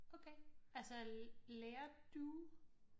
Okay altså lærer du